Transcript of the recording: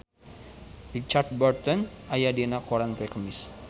Richard Burton aya dina koran poe Kemis